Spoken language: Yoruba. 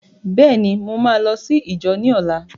Bẹ́ẹ̀ ni, mo máa lọ sí íjọ ní ọlá.